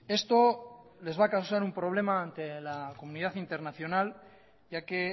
esto les va a causar un problema ante la comunidad internacional ya que